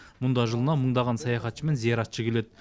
мұнда жылына мыңдаған саяхатшы мен зияратшы келеді